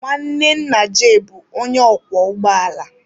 Nwanne nna Jay bụ onye ọkwọ ụgbọ ala.